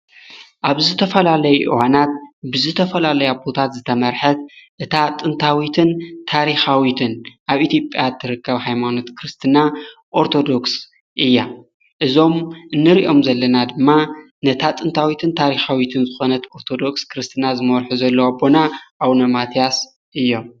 ኣብዝ ተፈላለይ ዮሓናት ብዝ ተፈላለይ ኣፑታት ዝተመርሐት እታ ጥንታዊትን ታሪኻዊትን ኣብ ኢቲጵያት ትርቀብ ኃይማኖት ክርስትና ኦርቶዶክስ እያ እዞም ንርእኦም ዘለና ድማ ነታ ጥንታዊትን ታሪኻዊትን ዝኾነት ኦርቶዶክስ ክርስትና ዝመወርኁ ዘለዋ ኣቦና ኣው ነማትያስ እዮም።